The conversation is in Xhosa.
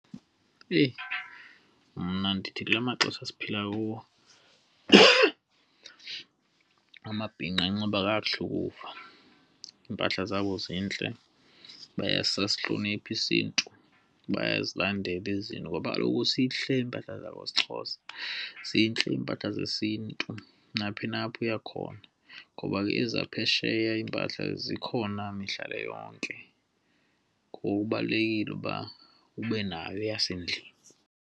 Eyi! Mna ndithi kula maxesha esiphila kuwo, amabhinqa anxiba kakuhle ukufa. Iimpahla zabo zintle bayasihlonipha isiNtu. Bayazilandela izinto ngoba kaloku sihleli iimpahla zesiXhosa, zintle iimpahla zesintu naphi na apho uya khona ngoba ke eza phesheya iimpahla zikhona mihla le yonke, ngoku kubalulekile ukuba ube nayo eyasendlini.